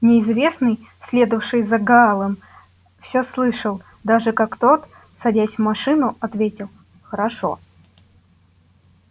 неизвестный следовавший за гаалом все слышал даже как тот садясь в машину ответил хорошо